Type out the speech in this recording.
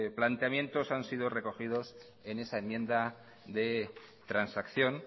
planteamientos han sido recogidos en esa enmienda de transacción